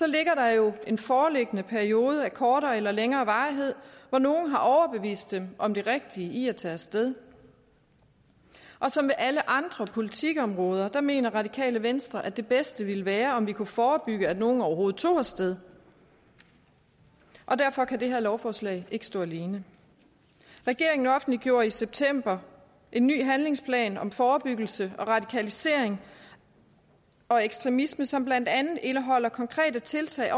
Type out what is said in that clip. ligger der jo en foreliggende periode af kortere eller længere varighed hvor nogle har overbevist dem om det rigtige i at tage af sted som med alle andre politikområder mener radikale venstre at det bedste ville være om vi kunne forebygge at nogen overhovedet tager af sted derfor kan det her lovforslag ikke stå alene regeringen offentliggjorde i september en ny handlingsplan om forebyggelse af radikalisering og ekstremisme som blandt andet indeholder konkrete tiltag